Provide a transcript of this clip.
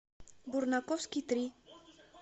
бурнаковский три